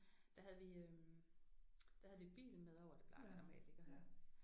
Der havde vi øh der havde vi bilen med over det plejer vi normalt ikke at have